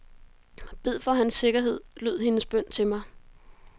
Bed for hans sikkerhed, lød hendes bøn til mig.